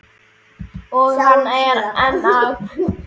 Og hann er enn að.